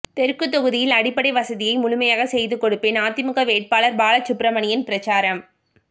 தெற்கு தொகுதியில் அடிப்படை வசதியை முழுமையாக செய்து கொடுப்பேன் அதிமுக வேட்பாளர் பாலசுப்பிரமணியன் பிரசாரம்